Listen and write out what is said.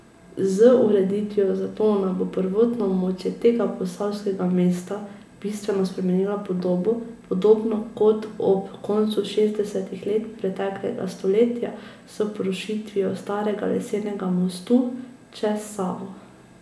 Z ureditvijo Zatona bo prvotno območje tega posavskega mesta bistveno spremenilo podobo, podobno kot ob koncu šestdesetih let preteklega stoletja s porušitvijo starega lesenega mostu čez Savo.